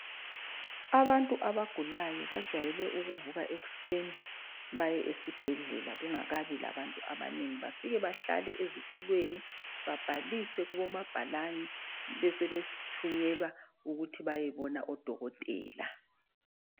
Abantu abagulayo bajwayele ukuvuka ekuseni baye esibhedlela kungakabi labantu abanengi. Bafike bahlale ezitulweni babhalise kubomabhalani, besebethunyelwa ukuthi bayebona odokotela.